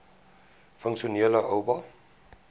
funksionele oba